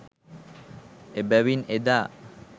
එබැවින් එදා